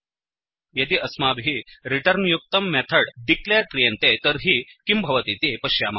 यदि अस्माभिः रिटुर्न्युक्तं मेथड् डिक्लेर् क्रियते तर्हि किं भवतीति पश्यामः